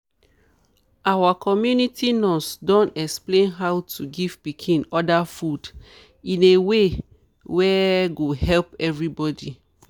our community nurse don explain how to give pikin other food in a way wey go help everybody.